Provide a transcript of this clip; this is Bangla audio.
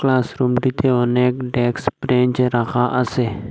ক্লাসরুমটিতে অনেক ডেকস ব্রেন্চ রাখা আসে।